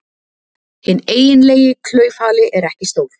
Hinn eiginlegi klaufhali er ekki stór.